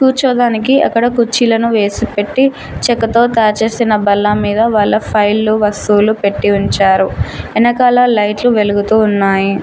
కూర్చోదానికి అక్కడ కుర్చీలను వేసి పెట్టి చెక్కతో తయారు చేసిన భల్ల మీద వాళ్ళ ఫైల్లు వస్తువులు పెట్టి ఉంచారు ఎనకాల లైట్లు వెలుగుతూ ఉన్నాయి.